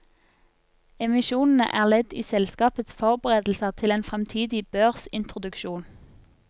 Emisjonene er ledd i selskapets forberedelser til en fremtidig børsintroduksjon.